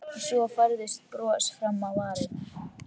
Svo færðist bros fram á varirnar.